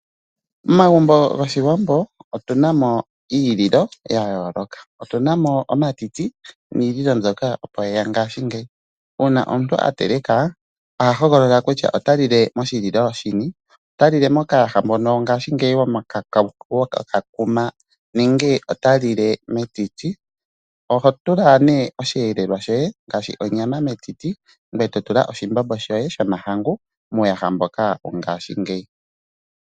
Momagumbo goshiwambo otuna mo iililo ya yooloka. Otuna mo omatiti niililo mbyoka opo yeya ngaashingeyi, uuna omuntu ateleka aha hogolola kutya ota lile moshililo shini, ota lile mokayaha mono ngaashingeyi kokakuma nenge ota lili metiti. Oho tula nee oshiyelelwa shoye ngaashi onyama metiti ngoye to tula oshimbombo shoye shomahangu muuyaha mboka wo ngashingeyi.